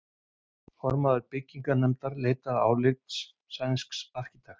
Formaður byggingarnefndar leitar álits sænsks arkitekts.